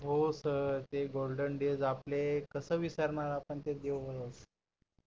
हो सर ते golden days आपले कस विसरणार आपण ते दिवस